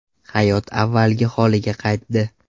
Hayot avvalgi holiga qaytdi.